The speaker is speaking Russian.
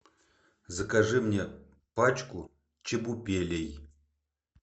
закажи мне пачку чебупелей